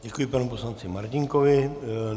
Děkuji panu poslanci Martínkovi.